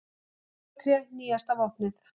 Jólatré nýjasta vopnið